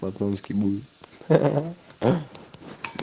пацански буду ха-ха